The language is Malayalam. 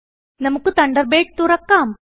നമുക്ക് തണ്ടർബേഡ് തുറക്കാം